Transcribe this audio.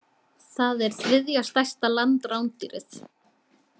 Það er þriðja stærsta landrándýrið.